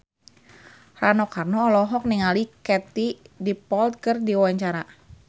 Rano Karno olohok ningali Katie Dippold keur diwawancara